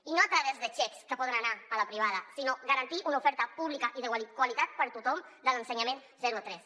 i no a través de xecs que poden anar a la privada sinó garantint una oferta pública i de qualitat per a tothom de l’ensenyament zero a tres